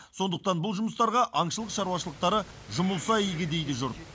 сондықтан бұл жұмыстарға аңшылық шаруашылықтары жұмылса игі дейді жұрт